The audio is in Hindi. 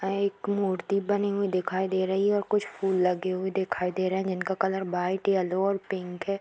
यहाँ एक मूर्ति बनी हुई दिखाई दे रही है और कुछ फूल लगे हुए दिखाई दे रहे हैं जिनका कलर वाइट येलो और पिंक है।